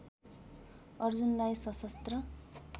अर्जुनलाई सशस्त्र